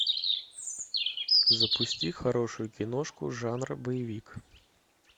запусти хорошую киношку жанра боевик